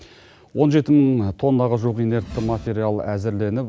он жеті мың тоннаға жуық инертті материал әзірленіп